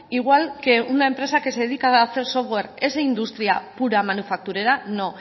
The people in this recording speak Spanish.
igual que una empresa que se dedica a hacer software es industria pura manufacturera no